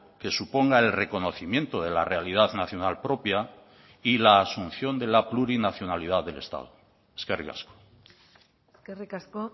que suponga el reconocimiento de la realidad nacional propia y la asunción de la plurinacionalidad del estado eskerrik asko eskerrik asko